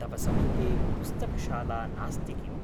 तव समीपे पुस्तकशाला नास्ति किम्?